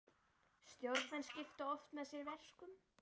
Stjórnarmenn skipta oft með sér verkum.